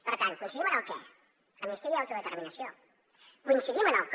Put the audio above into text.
per tant coincidim en el què amnistia i autodeterminació coincidim en el com